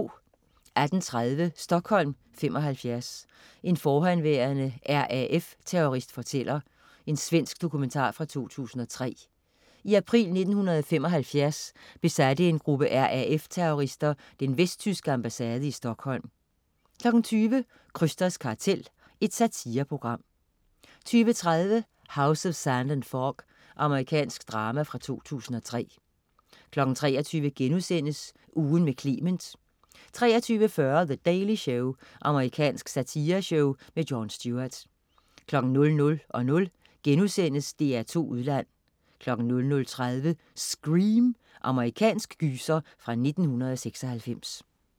18.30 Stockholm '75. En forhenværende RAF-terrorist fortæller. Svensk dokumentar fra 2003. I april 1975 besatte en gruppe RAF-terrorister den vesttyske ambassade i Stockholm 20.00 Krysters kartel. Satireprogram 20.30 House of Sand and Fog. Amerikansk drama fra 2003 23.00 Ugen med Clement* 23.40 The Daily Show. Amerikansk satireshow. Jon Stewart 00.00 DR2 Udland* 00.30 Scream. Amerikansk gyser fra 1996